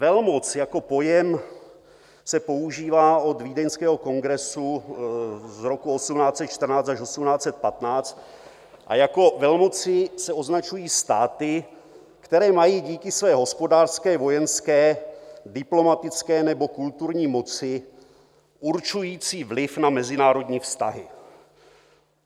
Velmoc jako pojem se používá od Vídeňského kongresu z roku 1814 až 1815 a jako velmoci se označují státy, které mají díky své hospodářské, vojenské, diplomatické nebo kulturní moci určující vliv na mezinárodní vztahy.